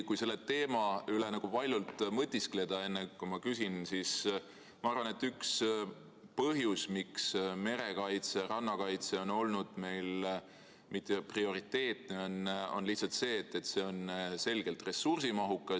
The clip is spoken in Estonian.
Kui selle teema üle nagu valjult mõtiskleda, enne kui ma küsin, siis ma arvan, et üks põhjus, miks merekaitse ja rannakaitse on olnud meil mitteprioriteetne, on lihtsalt see, et see on selgelt ressursimahukas.